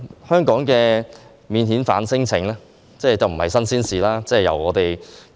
香港對免遣返聲請的處理，已不是新鮮事。